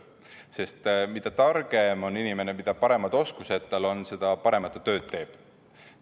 Sest mida targem on inimene, mida paremad oskused tal on, seda paremat tööd ta teeb.